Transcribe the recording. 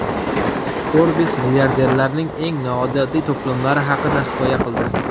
Forbes milliarderlarning eng noodatiy to‘plamlari haqida hikoya qildi .